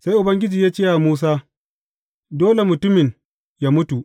Sai Ubangiji ya ce wa Musa, Dole mutumin yă mutu.